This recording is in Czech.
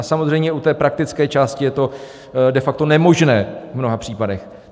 A samozřejmě u té praktické části je to de facto nemožné v mnoha případech.